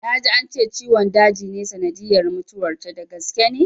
Na ji ance ciwon daji ne sanadiyyar mutuwar ta, da gaske ne?